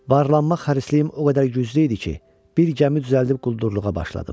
Varlanmaq hərisliyim o qədər güclü idi ki, bir gəmi düzəldib quldurluğa başladım.